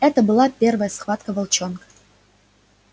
это была первая схватка волчонка